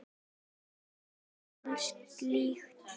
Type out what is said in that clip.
Til hvers gera menn slíkt?